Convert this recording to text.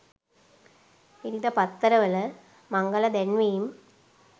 ඉරිදා පත්තර වල මංගල දැන්වීම්